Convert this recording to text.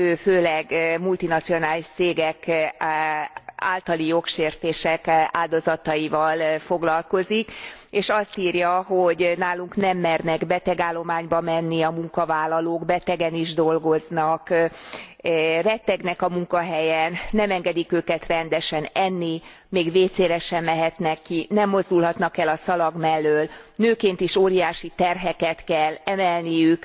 Ő főleg multinacionális cégek általi jogsértések áldozataival foglalkozik, és azt írja, hogy nálunk nem mernek betegállományba menni a munkavállalók, betegen is dolgoznak, rettegnek a munkahelyen, nem engedik őket rendesen enni, még WC re sem mehetnek ki, nem mozdulhatnak el a szalag mellől, nőként is óriási terheket kell emelniük.